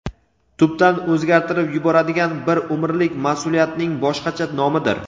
tubdan o‘zgartirib yuboradigan bir umrlik mas’uliyatning boshqacha nomidir;.